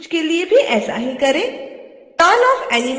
हरे त्रिभुज के लिए भी ऐसा ही करें